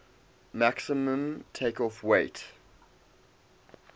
maximum takeoff weight